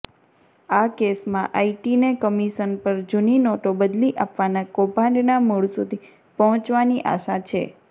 આ કેસમાં આઈટીને કમિશન પર જૂની નોટો બદલી આપવાના કૌભાંડના મૂળ સુધી પહોંચવાની આશા છે